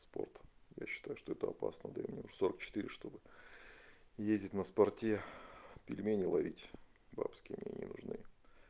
спорт я считаю что это опасно для меня в сорок четыре чтобы ездить на спорте пельмени ловить бабские мне не нужны